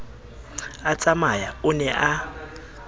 a tsamaya o ne a